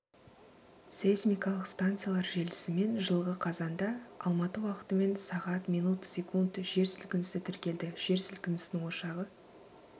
сейсмикалық станциялар желісімен жылғы қазанда алматы уақытымен сағ мин сек жер сілкінісі тіркелді жер сілкінісінің ошағы